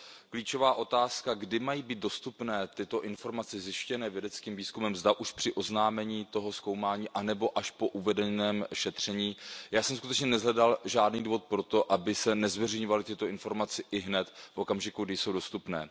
Klíčová otázka, kdy mají být dostupné tyto informace zjištěné vědeckým výzkumem, zda už při oznámení toho zkoumání anebo až po uvedeném šetření já jsem skutečně neshledal žádný důvod pro to, aby se nezveřejňovaly tyto informace ihned v okamžiku, kdy jsou dostupné.